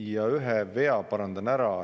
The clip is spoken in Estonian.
Ja ühe vea parandan ära.